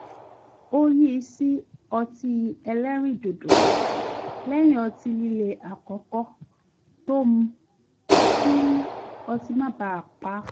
ó yí sí ọtí ẹlẹ́rìn dòdò lẹ́yìn ọtí líle àkọ́kọ́ tó mu kí otí má baà pa á